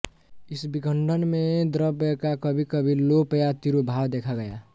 इस विखंडन में द्रव्य का कभीकभी लोप या तिरोभाव देखा गया